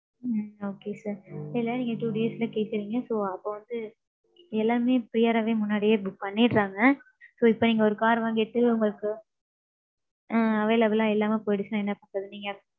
ம்ம் okay sir. எல்லாருக்குமே நீங்க two days ல கேக்குறீங்க. so அப்போ வந்து எல்லாமே prior ராவே முன்னாடியே book பண்ணிடறாங்க. So இப்போ நீங்க car வந்திட்டு உங்களுக்கு available லா இல்லாமே போயிடிச்சுனா என்ன பண்றது நீங்க?